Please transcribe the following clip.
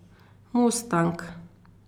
Mustang.